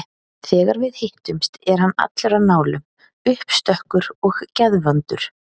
Þegar við hittumst er hann allur á nálum, uppstökkur og geðvondur.